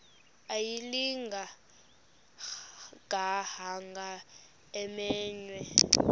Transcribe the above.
ayilinga gaahanga imenywe